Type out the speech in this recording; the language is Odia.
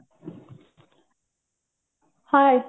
hy